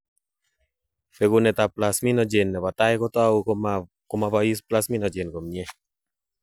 Bekunetab plasminogen nebo tai kotou ko ma bois plasminogen komnyie.